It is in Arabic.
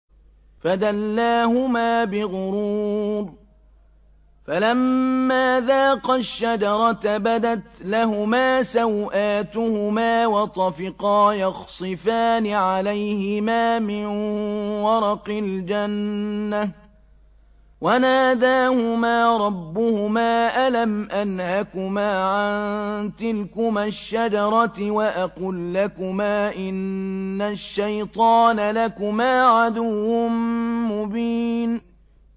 فَدَلَّاهُمَا بِغُرُورٍ ۚ فَلَمَّا ذَاقَا الشَّجَرَةَ بَدَتْ لَهُمَا سَوْآتُهُمَا وَطَفِقَا يَخْصِفَانِ عَلَيْهِمَا مِن وَرَقِ الْجَنَّةِ ۖ وَنَادَاهُمَا رَبُّهُمَا أَلَمْ أَنْهَكُمَا عَن تِلْكُمَا الشَّجَرَةِ وَأَقُل لَّكُمَا إِنَّ الشَّيْطَانَ لَكُمَا عَدُوٌّ مُّبِينٌ